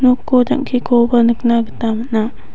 noko jang·kekoba nikna gita man·a.